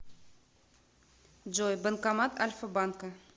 джой банкомат альфа банка